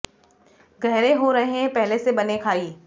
गहरे हो रहे हैं पहले से बने खाई